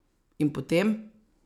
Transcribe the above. In potem!